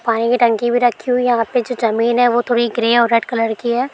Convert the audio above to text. पानी की टंकी भी रखी हुई हैं यहाँ पे जो जमीन है वो थोड़ी ग्रे और रेड कलर की है।